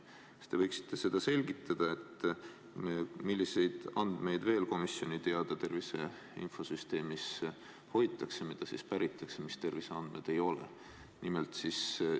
Kas te võiksite selgitada, milliseid andmeid komisjoni teada tervise infosüsteemis veel hoitakse, mis ei ole terviseandmed, aga mille kohta päringuid tehakse?